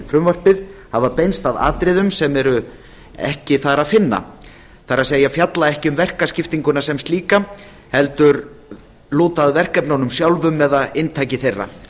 frumvarpið hafa beinst að atriðum sem er ekki þar að finna það er fjalla ekki um verkaskiptinguna sem slíka heldur lúta að verkefnunum sjálfum eða inntaki þeirra